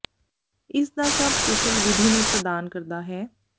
ਇਸ ਦਾ ਸਭ ਕੁਸ਼ਲ ਵਿਧੀ ਨੂੰ ਪ੍ਰਦਾਨ ਕਰਦਾ ਹੈ